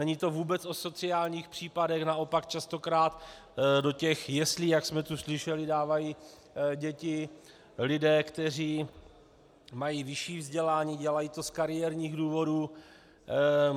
Není to vůbec o sociálních případech, naopak častokrát do těch jeslí, jak jsme tu slyšeli, dávají děti lidé, kteří mají vyšší vzdělání, dělají to z kariérních důvodů.